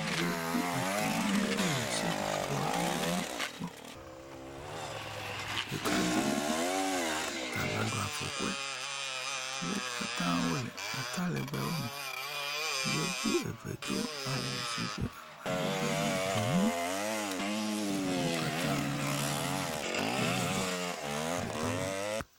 Yevu etɔ̃ aɖeo le seƒoƒo aɖewo gbɔ. Ɖeka do atamaɖo afɔkoe, wo katã wole ata legbewo me yevu eve do awu si ke amadede nye gbe mu eye wo katã wobɔbɔ le dɔ wɔm.